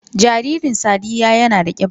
Jaririn sadiyya yana da kiba